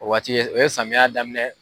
O waati o ye samiya daminɛ